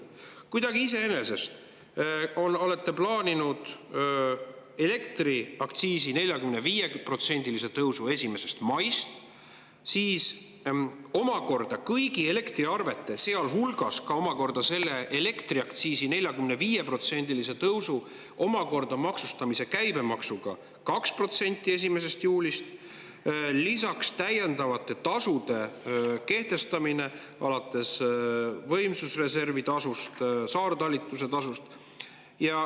Kuidagi iseenesest olete plaaninud elektriaktsiisi 45%-lise tõusu 1. maist, siis kõigi elektriarvete, sealhulgas omakorda selle elektriaktsiisi 45%-lise tõusu maksustamise käibemaksu 2% alates 1. juulist ning lisaks täiendavate tasude kehtestamise alates võimsusreservi tasust, saartalitluse tasust.